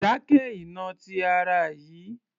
Dákẹ́ ìnà ti ara yìí